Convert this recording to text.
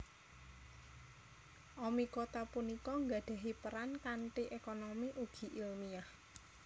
Oomycota punika nggadhahi peran kanthi ékonomi ugi ilmiah